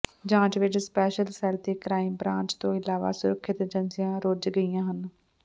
ਜਾਂਚ ਵਿਚ special cell ਤੇ ਕਰਾਈਮ ਬਰਾਂਚ ਤੋਂ ਇਲਾਵਾ ਸੁਰੱਖਿਆ ਏਜੰਸੀਆਂ ਰੁੱਝ ਗਈਆਂ ਹਨ